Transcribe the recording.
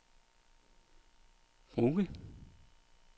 Brugge